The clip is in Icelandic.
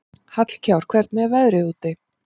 Hjallkár, hvernig er veðrið úti?